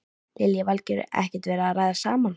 Lillý Valgerður: Ekkert verið að ræða saman?